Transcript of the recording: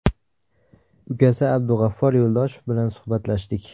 Ukasi Abug‘affor Yo‘ldoshev bilan suhbatlashdik.